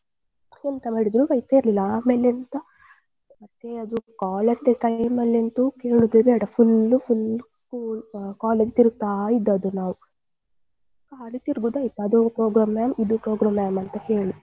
ಎಂತ ಮಾಡಿದ್ರು ಬೈತಾ ಇರ್ಲಿಲ್ಲ ಆಮೇಲೆ ಎಂತ college day time ಅಲ್ಲಿ ಅಂತು ಹೇಳುದೇ ಬೇಡ full full college ತಿರುಗ್ತಾ ಇದ್ದದ್ದು ನಾವು ಹಾಗೆ ತಿರ್ಗುದೆ ಆಯ್ತು. ಅದು program ma'am ಇದು program mam ಅಂತ ಹೇಳಿ.